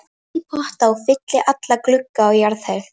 Ég set í potta og fylli alla glugga á jarðhæð.